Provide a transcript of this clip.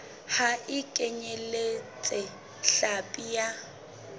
ha e kenyeletse hlapi ya